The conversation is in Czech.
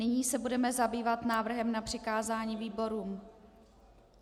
Nyní se budeme zabývat návrhem na přikázání výborům.